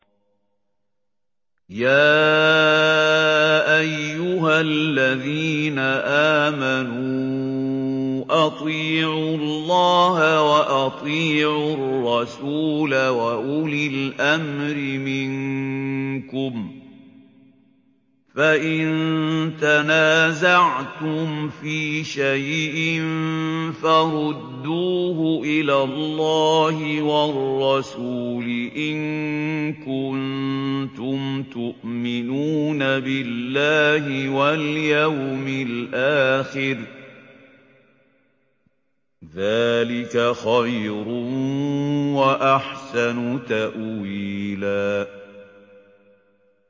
يَا أَيُّهَا الَّذِينَ آمَنُوا أَطِيعُوا اللَّهَ وَأَطِيعُوا الرَّسُولَ وَأُولِي الْأَمْرِ مِنكُمْ ۖ فَإِن تَنَازَعْتُمْ فِي شَيْءٍ فَرُدُّوهُ إِلَى اللَّهِ وَالرَّسُولِ إِن كُنتُمْ تُؤْمِنُونَ بِاللَّهِ وَالْيَوْمِ الْآخِرِ ۚ ذَٰلِكَ خَيْرٌ وَأَحْسَنُ تَأْوِيلًا